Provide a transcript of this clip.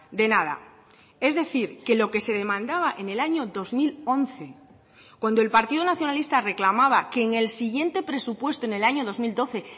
de nada es decir que lo que se demandaba en el año dos mil once cuando el partido nacionalista reclamaba que en el siguiente presupuesto en el año dos mil doce